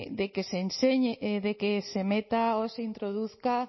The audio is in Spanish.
no de que se meta o se introduzca